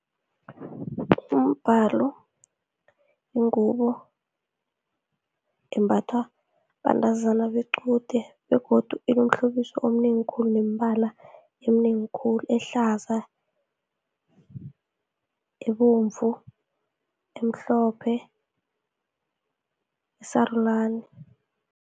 Umbalo yingubo embathwa bantazana bequde, begodu inomhlobiso omnengi khulu, neembala emnengi khulu, ehlaza, ebomvu, emhlophe, esarulani.